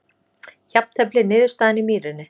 Jafntefli niðurstaðan í Mýrinni